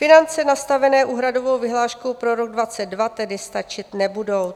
Finance nastavené úhradovou vyhláškou pro rok 2022 tedy stačit nebudou.